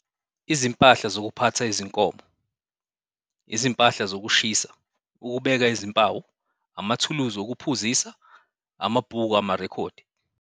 Izimpahla zokuphatha izinkomo, izimpahla zokushisa, ukubeka izimpawu, amathulusi okuphuzisa, amabhuku amarekhodi.